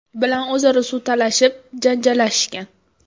bilan o‘zaro suv talashib, janjallashishgan.